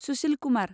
Sushil Kumar